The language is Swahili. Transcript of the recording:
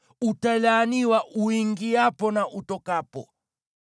Utalaaniwa uingiapo na utokapo.